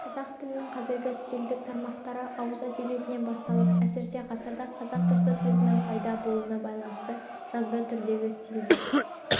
қазақ тілінің қазіргі стильдік тармақтары ауыз әдебиетінен басталып әсіресе ғасырда қазақ баспасөзінің пайда болуына байланысты жазба түрдегі стильдер